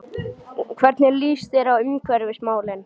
Hvernig líst þér á umhverfismálin?